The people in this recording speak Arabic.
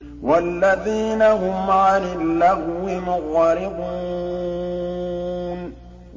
وَالَّذِينَ هُمْ عَنِ اللَّغْوِ مُعْرِضُونَ